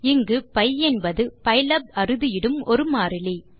இங்கு பி என்பது பைலாப் அறுதியிடும் ஒரு மாறிலி